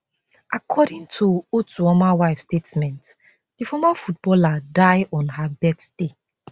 according to otuoma wife statement di former footballer die on her birthday